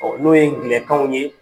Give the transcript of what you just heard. n'o ye gnɛkanw ye